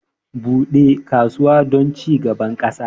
Bude kasuwa don cigaban ƙasa